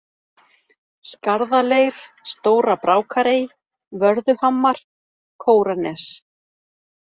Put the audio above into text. Skarðaleir, Stóra-Brákarey, Vörðuhamar, Kóranes